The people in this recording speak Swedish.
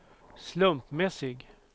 slumpmässig